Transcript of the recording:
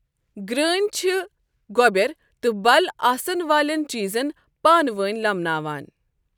گرٛٲنؠ چھٕ گۄبؠر تہٕ بَل آسَن والؠن چیٖزَن پانہٕ وٲنؠ لَمناوان۔